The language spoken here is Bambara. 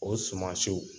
O sumansiw